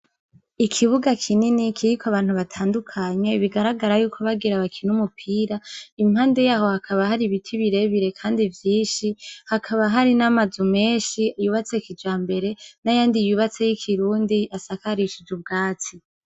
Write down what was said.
Ikibuga kinini kiriko abantu batandukanye bigaragara yuko bagira bakine umupira impande yaho hakaba hari ibiti bire bire kandi vyinshi hakaba hari n' amazu menshi yubatse kijambere n' ayandi yubatse y' ikirundi asakarishije ubwatsi.